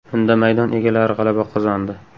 Unda maydon egalari g‘alaba qozondi.